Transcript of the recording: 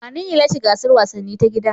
Wanene ya lashe gasar wasanni ta gida?